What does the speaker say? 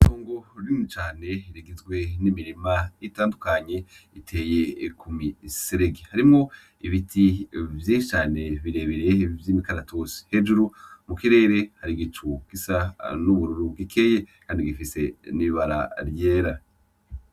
Itongo rinini cane rigizwe n'imirima itandukanye iteye ku miserege . Harimwo ibiti vyinshi cane birebire vy'umukaratusi . Hejuru mu kirere har'igicu gisa n'ubururu gikeye kandi gifise n'ibara ryera.